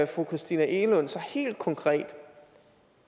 fru christina egelund sig helt konkret